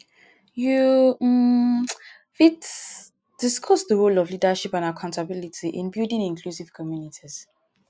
you um fit discuss di role of leadership and accountability in building inclusive communities.